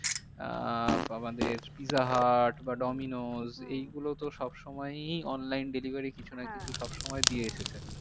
আহ আমাদের Pizza Hut বা Domino's এই গুলো তো সব সময়ই online delivery কিছু না কিছু সব সময় দিয়ে এসেছে।